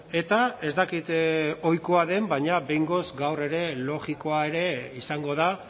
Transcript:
eta ez dakit ohikoa den baina behingoz gaur ere logikoa ere izango da